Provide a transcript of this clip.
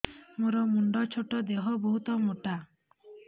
ମୋର ମୁଣ୍ଡ ଛୋଟ ଦେହ ବହୁତ ମୋଟା